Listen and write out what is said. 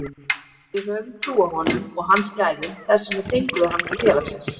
Við höfum trú á honum og hans gæðum, þess vegna fengum við hann til félagsins.